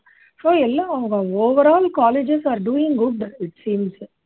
so எல்லா அவங்க overall colleges are doing good it seems